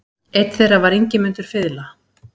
Einn þeirra var Ingimundur fiðla.